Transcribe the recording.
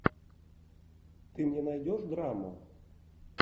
ты мне найдешь драму